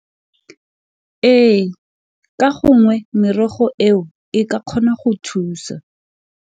Ee ka gongwe merogo eo e ka kgona go thusa.